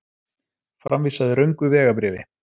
Framvísaði röngu vegabréfi